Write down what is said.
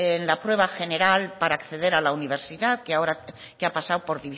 en la prueba general para acceder a la universidad que ha pasado por